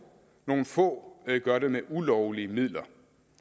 nogle få gør det med ulovlige midler